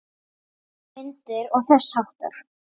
Myndir og þess háttar.